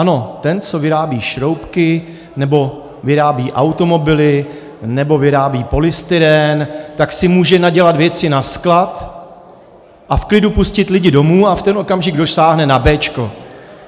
Ano, ten, co vyrábí šroubky nebo vyrábí automobily nebo vyrábí polystyrén, tak si může nadělat věci na sklad a v klidu pustit lidi domů, a v ten okamžik dosáhne na béčko.